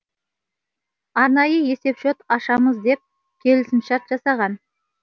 арнайы есепшот ашамыз деп келісімшарт жасаған